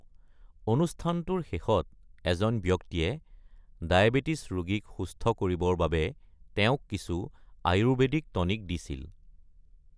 অনুষ্ঠানটোৰ শেষত এজন ব্যক্তিয়ে ডায়বেটিছ ৰোগীক সুস্থ কৰিবৰ বাবে তেওঁক কিছু আয়ুৰ্বেদিক টনিক দিছিল।